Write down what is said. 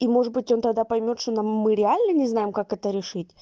и может быть он тогда поймёт что нам мы реально не знаем как это решить